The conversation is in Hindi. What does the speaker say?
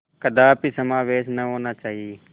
कदापि समावेश न होना चाहिए